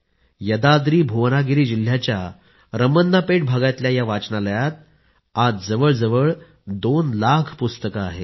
यदाद्रिभुवनागिरी जिल्ह्याच्या रमन्नापेट भागातल्याया वाचनालयात आज जवळजवळ २ लाख पुस्तकं आहेत